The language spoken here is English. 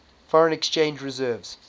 foreign exchange reserves